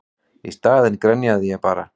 Í staðinn grenjaði ég bara.